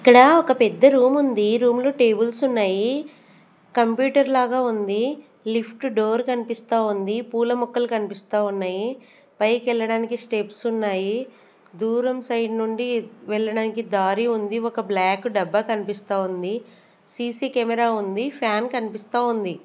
ఇక్కడ ఒక పెద్ద రూమ్ ఉంది రూమ్ లో టేబుల్స్ ఉన్నాయి కంప్యూటర్ లాగా ఉంది లిఫ్ట్ డోర్ కనిపిస్తా ఉంది పూల ముక్కలు కనిపిస్తా ఉన్నాయి పైకి వెళ్ళడానికి స్టెప్స్ ఉన్నాయి దూరం సైడ్ నుండి వెళ్ళడానికి దారి ఉంది ఒక బ్లాక్ డబ్బా కనిపిస్తా ఉంది సి_సి కెమెరా ఉంది ఫ్యాన్ కనిపిస్తా ఉంది.